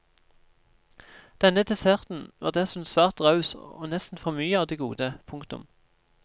Denne desserten var dessuten svært raus og nesten for mye av det gode. punktum